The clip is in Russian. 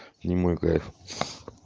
не мой кайф